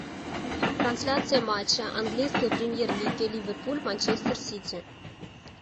трансляция матча английской премьер лиги ливерпуль манчестер сити